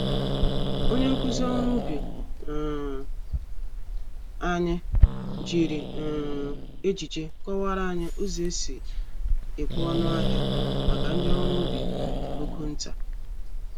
Onye nkụzi ọrụ ubi um anyị, jiri um ejije kọwara anyị ụzọ esi ekwe-ọnụ-ahịa, màkà ndi ọrụ ubi ogo ntà.